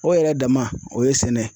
O yɛrɛ dama o ye sɛnɛ ye.